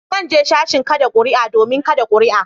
Zan je sashin kada kuri'a domin kada kuri'a.